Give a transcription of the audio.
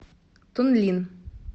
тунлин